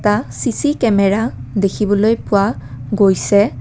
এটা C C camera দেখিবলৈ পোৱা গৈছে।